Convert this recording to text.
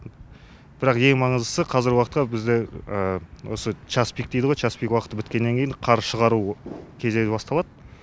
бірақ ең маңыздысы қазіргі уақытқа бізде осы часпик дейді ғой часпик уақыты біткеннен кейін қар шығару кезегі басталады